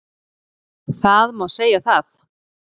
Það má segja það